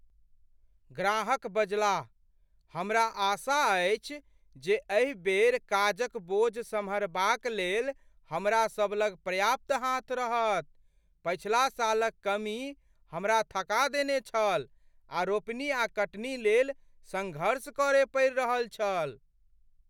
ग्राहक बजलाह, "हमरा आशा अछि जे एहि बेर काजक बोझ सम्हारबाक लेल हमरा सब लग पर्याप्त हाथ रहत । पछिला सालक कमी हमरा थका देने छल आ रोपनी आ कटनी लेल सङ्घर्ष करय पड़ि रहल छल।"